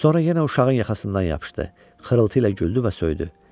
Sonra yenə uşağın yaxasından yapışdı, xırıltı ilə güldü və söydü.